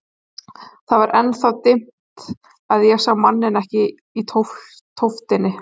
Það var enn það dimmt að ég sá manninn ekki í tóftinni.